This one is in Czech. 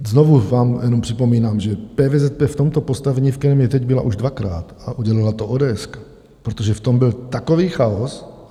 Znovu vám jenom připomínám, že PVZP v tomto postavení, v kterém je teď, byla už dvakrát a udělala to ODS, protože v tom byl takový chaos.